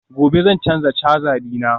gobe zan canza caja dina